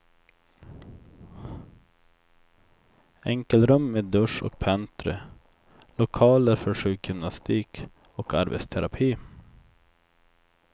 Enkelrum med dusch och pentry, lokaler för sjukgymnastik och arbetsterapi.